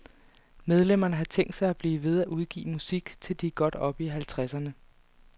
Medlemmerne har tænkt sig at blive ved at udgive musik, til de er godt oppe i halvtredserne.